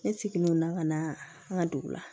Ne seginnen don na ka na an ka dugu la